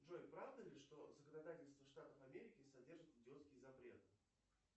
джой правда ли что законодательство штатов америки содержит идиотские запреты